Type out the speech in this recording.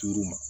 Duuru ma